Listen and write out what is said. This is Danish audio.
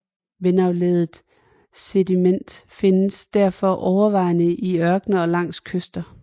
Vindaflejret sediment findes derfor overvejende i ørkener og langs kyster